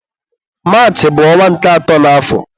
Maachị bụ ọnwa nke atọ n'àfọ̀